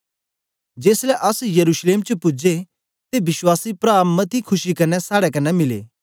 जेसलै अस यरूशलेम च पूजे ते विश्वासी प्रा मती खुशी कन्ने साड़े कन्ने मिले